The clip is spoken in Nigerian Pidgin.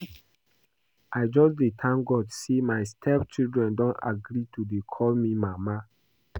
I just dey thank God say my step children don agree to dey call me mama